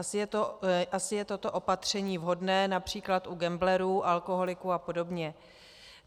Asi je toto opatření vhodné například u gamblerů, alkoholiků a podobně.